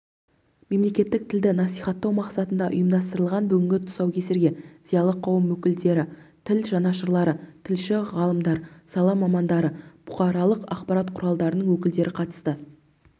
мемлекеттік тілді насихаттау мақсатында ұйымдастырылған бүгінгі тұсаукесерге зиялы қауым өкілдері тіл жанашырлары тілші ғалымдар сала мамандары бұқаралық ақпарат құралдарынның өкілдері қатысты